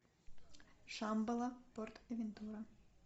шамбала порт авентура